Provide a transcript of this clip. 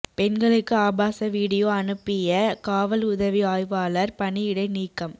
பெண்களுக்கு ஆபாச விடியோ அனுப்பிய காவல் உதவி ஆய்வாளா் பணியிடை நீக்கம்